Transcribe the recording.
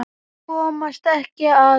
Komast ekki að.